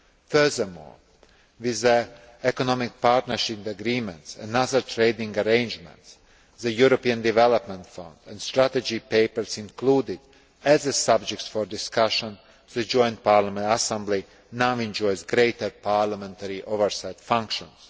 Furthermore, with the economic partnership agreements and other trading arrangements, the European Development Fund and strategy papers included as subjects for discussion, the Joint Parliamentary Assembly now enjoys greater parliamentary oversight functions.